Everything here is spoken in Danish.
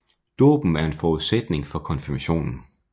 Dåben er en forudsætning for konfirmationen